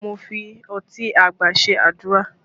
Mo fi ọtí àgbà ṣe àdúrà